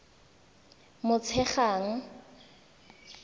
motshegang